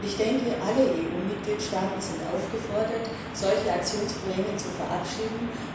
Ich denke, alle EU Mitgliedstaaten sind aufgefordert, solche Aktionspläne zu verabschieden.